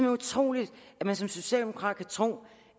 utroligt at man som socialdemokrat kan tro